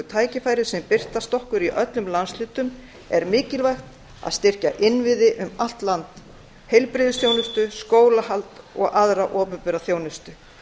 tækifæri sem birtast okkur í öllum landshlutum er mikilvægt að styrkja innviði um allt land heilbrigðisþjónustu skólahald og aðra opinbera þjónustu